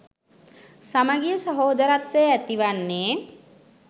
සමගිය සහෝදරත්වය ඇති වන්නේ.